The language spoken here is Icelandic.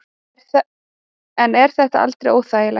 En er þetta aldrei óþægilegt?